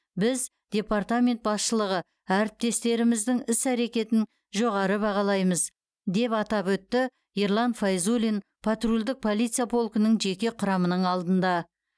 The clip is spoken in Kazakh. біз департамент басшылығы әріптестеріміздің іс әрекеттерін жоғары бағалаймыз деп атап өтті ерлан файзуллин патрульдік полиция полкінің жеке құрамының алдында